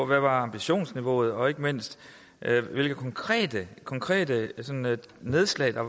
hvad ambitionsniveauet er og ikke mindst hvilke konkrete konkrete nedslag der